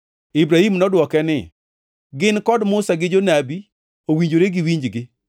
“Ibrahim nodwoke ni, ‘Gin kod Musa gi Jonabi, owinjore giwinjgi.’